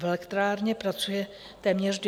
V elektrárně pracuje téměř 200 lidí.